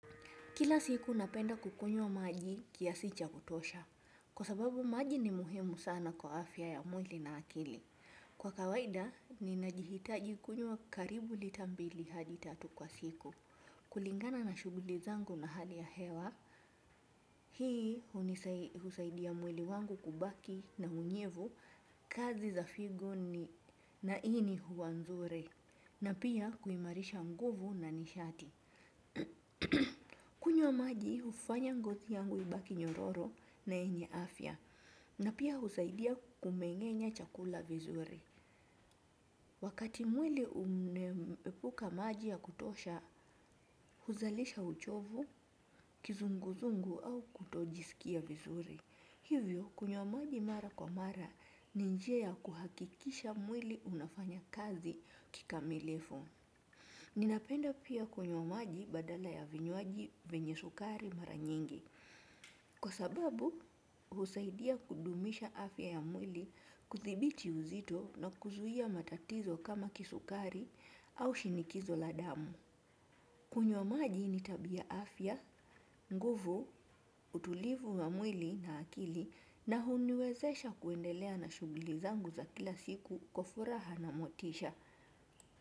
Kila siku napenda kukunywa maji kiasi cha kutosha, kwa sababu maji ni muhimu sana kwa afya ya mwili na akili. Kwa kawaida, ninajihitaji kunywa karibu lita mbili hadi tatu kwa siku. Kulingana na shughuli zangu na hali ya hewa, hii husaidia mwili wangu kubaki na unyevu, kazi za figo na ini huwa nzuri. Na pia kuimarisha nguvu na nishati. Kunywa maji hufanya ngozi yangu ibaki nyororo na yenye afya na pia husaidia kumeng'enya chakula vizuri. Wakati mwili unaepuka maji ya kutosha huzalisha uchovu, kizunguzungu au kutojisikia vizuri. Hivyo kunywa maji mara kwa mara ni njia ya kuhakikisha mwili unafanya kazi kikamilifu. Ninapenda pia kunywa maji badala ya vinywaji vyenye sukari mara nyingi. Kwa sababu, husaidia kudumisha afya ya mwili kuthibiti uzito na kuzuia matatizo kama kisukari au shinikizo la damu. Kunywa maji ni tabia afya, nguvu, utulivu wa mwili na akili na huniwezesha kuendelea na shughuli zangu za kila siku kwa furaha na motisha.